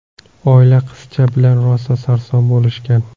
Oila qizcha bilan rosa sarson bo‘lishgan.